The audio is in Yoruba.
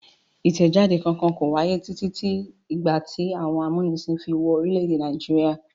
Ìtẹjáde kankan kò wáyé títí di ìgbà tí àwọn amúnisìn fi wọ orílẹ̀-èdè Nàìjíríà.